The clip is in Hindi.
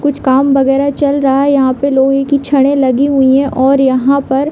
कुछ काम वगेरा चल रहा है यहाँ पे लोहें की छड़े लगी हुई है और यहाँ पर --